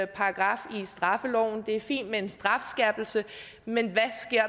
paragraf i straffeloven det er fint med en strafskærpelse men